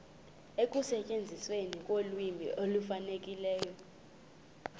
ekusetyenzisweni kolwimi olufanelekileyo